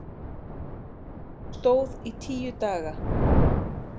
Hún stóð í tíu daga.